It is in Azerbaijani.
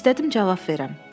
İstədim cavab verim.